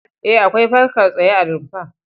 E, akwai fankar tsaye a rumfar.